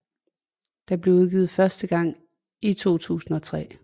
Det blev udgivet første gang i 2003